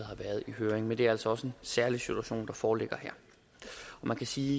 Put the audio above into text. har været i høring men det er altså også en særlig situation der foreligger her man kan sige